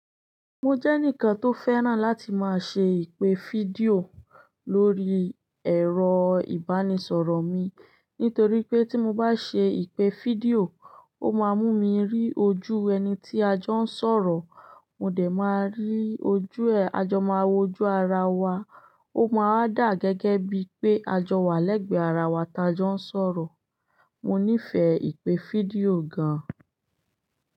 Mo jẹ́ enikan tó fẹ́ràn láti máa ṣe ìpè fídíò lórí ẹ̀rọ ìbánisọ̀rọ̀ mi nítorí pé tí mo bá ṣe ìpè fídíò, ó máa mú mi rí ojú ẹni tí a jọ ń sọ̀rọ̀. Mo dẹ̀ máa rí ojú ẹ̀, a jọ máa wo ojú ara wa. Ó máa wa dà gẹ́gẹ́ bíi pé a jọ wà lẹ́gbẹ̀ẹ́ ara wa tí a jọ ń sọ̀rọ̀. Mo nífẹ̀ẹ́ ìpè fídíò gan.